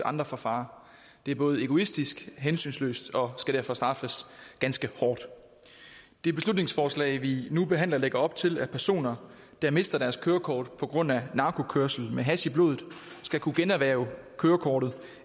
andre for fare det er både egoistisk og hensynsløst og skal derfor straffes ganske hårdt det beslutningsforslag vi nu behandler lægger op til at personer der mister deres kørekort på grund af narkokørsel med hash i blodet skal kunne generhverve kørekortet